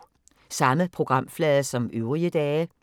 Samme programflade som øvrige dage